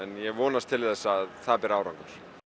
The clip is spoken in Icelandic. ég vonast til þess að það beri árangur